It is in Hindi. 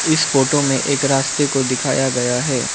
इस फोटो में एक रास्ते को दिखाया गया है।